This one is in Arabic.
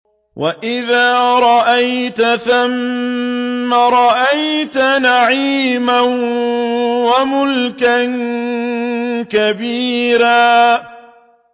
وَإِذَا رَأَيْتَ ثَمَّ رَأَيْتَ نَعِيمًا وَمُلْكًا كَبِيرًا